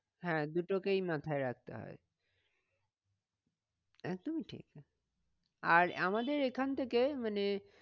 হ্যাঁ দুটোকেই মাথায় রাখতে হয়। একদমই ঠিকই আর আমাদের এখান থেকে মানে